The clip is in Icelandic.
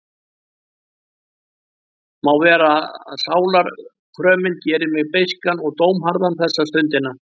Má vera að sálarkrömin geri mig beiskan og dómharðan þessa stundina.